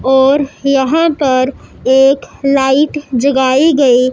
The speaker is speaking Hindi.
और यहां पर एक लाइट जगाई गई--